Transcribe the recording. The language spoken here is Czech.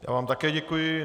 Já vám také děkuji.